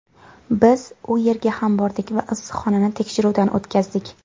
Biz u yerga ham bordik va issiqxonani tekshiruvdan o‘tkazdik.